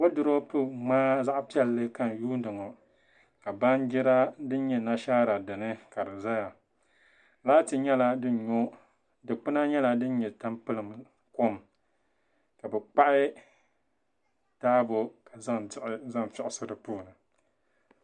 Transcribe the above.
Wooduropu ŋmaa din nyɛ zaɣ piɛlli ka n yuundi ŋɔ ka baanjira din nyɛ nashaara dini ka di ʒɛya laati nyɛla din nyo dikpuna nyɛla din nyɛ tampilim kom ka bi kpahi taabo ka zaŋ diɣi zaŋ figisi di puuni